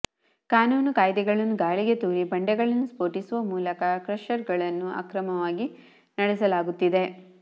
ಕಾನೂನು ಕಾಯ್ದೆಗಳನ್ನು ಗಾಳಿಗೆ ತೂರಿ ಬಂಡೆಗಳನ್ನು ಸ್ಪೋಟಿಸುವ ಮೂಲಕ ಕ್ರಷರ್ಗಳನ್ನು ಅಕ್ರಮವಾಗಿ ನಡೆಸಲಾಗುತ್ತಿದೆ